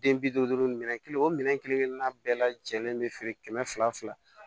Den bi duuru duuru minɛ kelen o minɛn kelen na bɛɛ lajɛlen be feere kɛmɛ fila fila